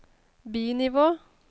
bi-nivå